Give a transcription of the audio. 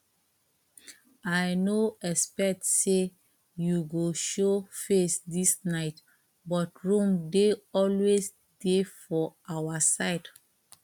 i no expect say you go show face this night but room dey always dey for our side